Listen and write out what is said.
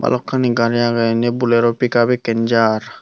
balokkani gari agey indi bolero pickup ekkan jar.